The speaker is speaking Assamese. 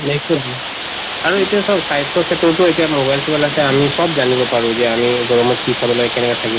আৰু এতিয়া চাওঁক স্বাস্থ্যৰ ক্ষেত্ৰততো এতিয়া mobile চোবাইল আছে আমি চব জানিব পাৰো যে আমি গৰমত কি খাব লাগে কেনেকে থাকিব